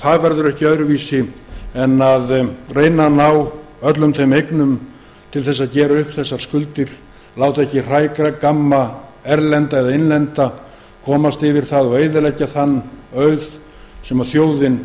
það verður gert ekki öðruvísi en að reyna að ná öllum þeim eignum til þess að gera upp skuldirnar láta ekki hrægamma erlenda eða innlenda komast yfir þær og eyðileggja þann auð sem þjóðin